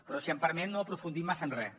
però si m’ho permet no ha aprofundit massa en res